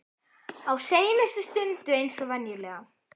Á seinustu stundu eins og venjulega.